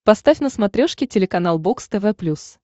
поставь на смотрешке телеканал бокс тв плюс